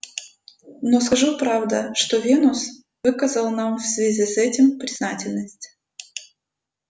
но скажу правда что венус выказал нам в связи с этим признательность